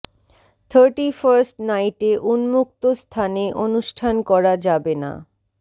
thirty first নাইটে উন্মুক্ত স্থানে অনুষ্ঠান করা যাবে না